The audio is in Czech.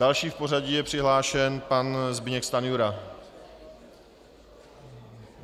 Další v pořadí je přihlášen pan Zbyněk Stanjura.